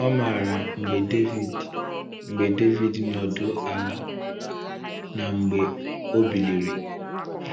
Ọ maara mgbe David mgbe David nọdụ ala na mgbe o biliri.